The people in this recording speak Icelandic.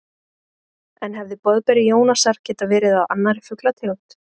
En hefði boðberi Jónasar getað verið af annarri fuglategund?